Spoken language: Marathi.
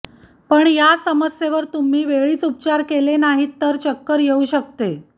पण या समस्येवर तुम्ही वेळीच उपचार केले नाहीत तर चक्कर येऊ शकते